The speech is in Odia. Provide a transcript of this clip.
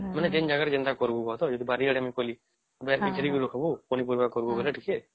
ମାନେ ଏମିତି ଜାଗା ରେ ଯେନ୍ତା କରିବୁ କହ ତ ଯଦି ବାରି ଆଡେ ମୁ କରିଲି ଘେରି କି ରଖିବୁ ପନି ପରିବା କରିବୁ ବୋଲେ ଟିକେ